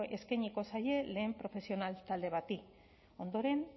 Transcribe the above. eskainiko zaie lehen profesional talde bati ondoren